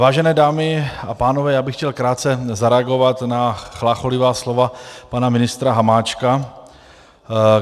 Vážené dámy a pánové, já bych chtěl krátce zareagovat na chlácholivá slova pana ministra Hamáčka.